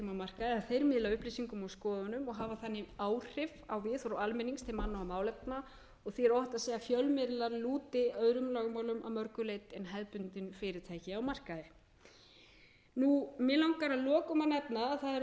þeir miðla upplýsingum og skoðunum og hafa þannig áhrif á viðhorf almennings til manna og málefna og því er óhætt að segja að fjölmiðlar lúti öðrum lögmálum að mörgu geti en hefðbundin fyrirtæki á markaði mig langar að lokum að nefna að það er